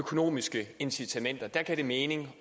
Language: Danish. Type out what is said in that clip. økonomiske incitamenter der gav det mening